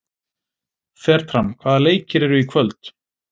Fertram, hvaða leikir eru í kvöld?